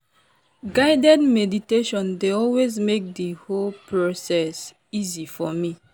guided meditation dey always make the whole process easy for me.